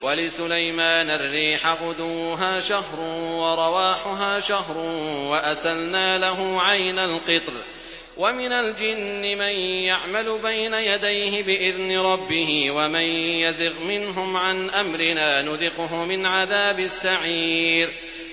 وَلِسُلَيْمَانَ الرِّيحَ غُدُوُّهَا شَهْرٌ وَرَوَاحُهَا شَهْرٌ ۖ وَأَسَلْنَا لَهُ عَيْنَ الْقِطْرِ ۖ وَمِنَ الْجِنِّ مَن يَعْمَلُ بَيْنَ يَدَيْهِ بِإِذْنِ رَبِّهِ ۖ وَمَن يَزِغْ مِنْهُمْ عَنْ أَمْرِنَا نُذِقْهُ مِنْ عَذَابِ السَّعِيرِ